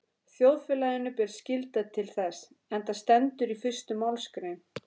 Þjóðfélaginu ber skylda til þess, enda stendur í fyrstu málsgrein